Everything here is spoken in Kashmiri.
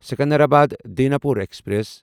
سکندرآباد داناپور ایکسپریس